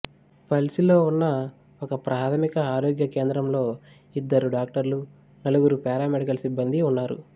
పల్సిలో ఉన్న ఒకప్రాథమిక ఆరోగ్య కేంద్రంలో ఇద్దరు డాక్టర్లు నలుగురు పారామెడికల్ సిబ్బందీ ఉన్నారు